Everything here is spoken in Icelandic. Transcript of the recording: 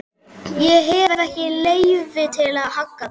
Ég hef ekki leyfi til að hagga þeim.